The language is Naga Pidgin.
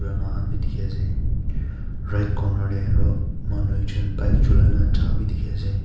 purana khan bhi delhi ase right corner te aru manu ekjon bike cholai ne ja bhi dekhi ase.